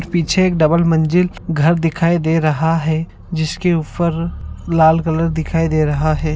पीछे एक डबल मंजिल घर दिखाई दे रहा है जिसके ऊपर लाल कलर दिखाई दे रहा है।